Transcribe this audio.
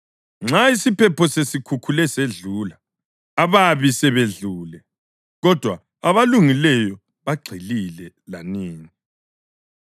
Nxa isiphepho sesikhukhule sedlula, ababi sebedlule, kodwa abalungileyo bagxilile lanini.